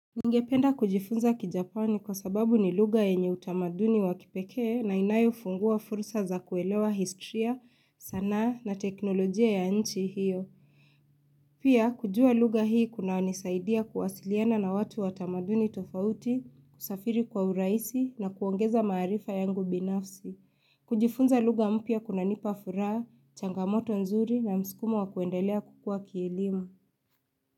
Ningependa kujifunza kijapani kwa sababu ni lugha yenye utamaduni wakipekee na inayofunguwa fursa za kuelewa histria sanaa na teknolojia ya nchi hiyo. Pia, kujua lugha hii kuna wanisaidia kuwasiliana na watu wa tamaduni tofauti, kusafiri kwa urahisi na kuongeza maarifa yangu binafsi. Kujifunza lugha mpya kunanipa furaha, changamoto nzuri na mskumo wakuendelea kukua kielimu.